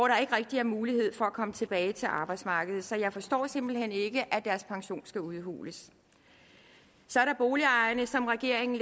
der ikke rigtig er mulighed for at komme tilbage til arbejdsmarkedet så jeg forstår simpelt hen ikke at deres pension skal udhules så er der boligejerne som regeringen